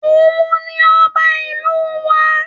Òun ni ọba ìlú wa